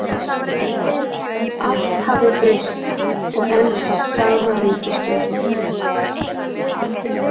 Allt hafði breyst, og enn sat sama ríkisstjórn.